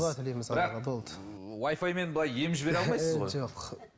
дұға тілейміз былай ем жібере алмайсыз ғой жоқ